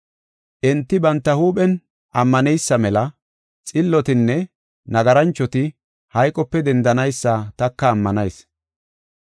Enti banta huuphen ammaneysa mela xillotinne nagaranchoti hayqope dendanaysa taka ammanayis.